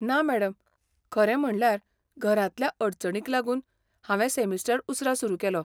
ना मॅडम, खरें म्हणळ्यार घरांतल्या अडचणींक लागून हांवें सॅमिस्टर उसरा सुरू केलो.